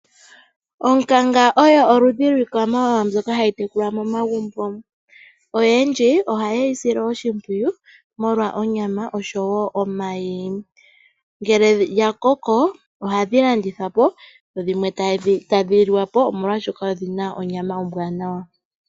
Onkanga oyo iikwamawawa mbyoka hayi tekulwa momagumbo. Oyendji ohayeyi sile oshimpwiyu molwa onyama oshoowo omayi. Ngele dhakoko ohadhi landithwa po dhimwe tadhi liwa po molwaashoka odhina onyama ombwaanawa.